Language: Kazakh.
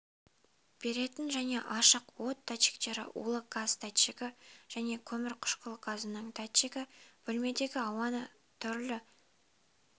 беретін және ашық от датчиктері улы газ датчигі және көмірқышқыл газының датчигі бөлмедегі ауаның түрлі